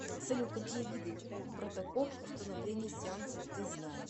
салют какие виды протокол установления сеанса ты знаешь